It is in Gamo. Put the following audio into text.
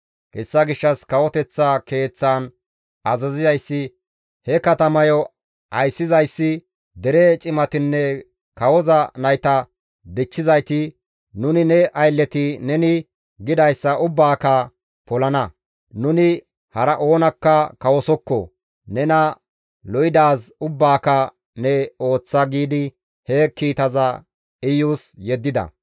Hessa gishshas kawoteththa keeththaan azazizayssi, he katamayo ayssizayssi, dere cimatinne kawoza nayta dichchizayti, «Nuni ne aylleti neni gidayssa ubbaaka polana; nuni hara oonakka kawosokko; nena lo7idaaz ubbaaka ne ooththa» giidi he kiitaza Iyus yeddida.